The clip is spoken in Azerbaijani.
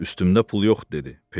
Üstümdə pul yoxdur dedi.